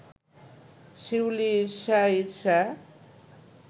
শিউলি ঈর্ষা ঈর্ষা